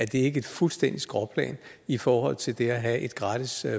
det ikke et fuldstændigt skråplan i forhold til det at have et gratis